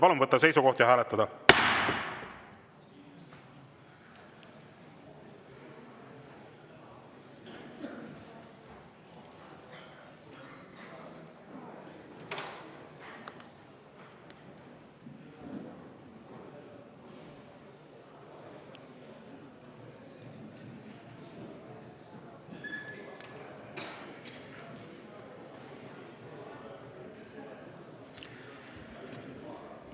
Palun võtta seisukoht ja hääletada!